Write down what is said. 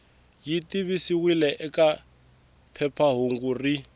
yi tivisiwile eka phephahungu rin